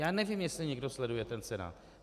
Já nevím, jestli někdo sleduje ten Senát.